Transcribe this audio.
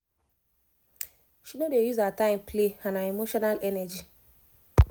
she no dey use her time play and her emotional energy